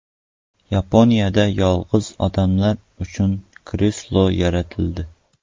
Yaponiyada yolg‘iz odamlar uchun kreslo yaratildi.